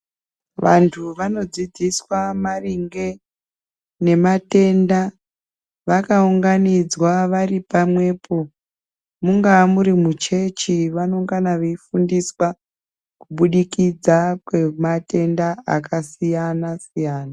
Vantu vanodzidziswa maringe nematenda vakaunganidzwa vari pamwepo, mungava muri muchechi vanongana veifundiswa kubudikidza ngematenda akasiyana siyana.